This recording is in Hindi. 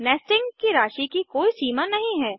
नेस्टिंग की राशि की कोई सीमा नहीं है